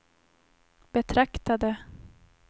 betraktade